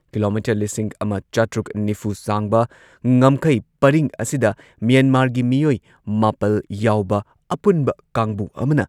kilometre ꯂꯤꯁꯤꯡ ꯑꯃ ꯆꯥꯇ꯭ꯔꯨꯛ ꯅꯤꯐꯨ ꯁꯥꯡꯕ ꯉꯝꯈꯩ ꯄꯔꯤꯡ ꯑꯁꯤꯗ ꯃ꯭ꯌꯥꯟꯃꯥꯔꯒꯤ ꯃꯤꯑꯣꯏ ꯃꯥꯄꯜ ꯌꯥꯎꯕ ꯑꯄꯨꯟꯕ ꯀꯥꯡꯕꯨ ꯑꯃꯅ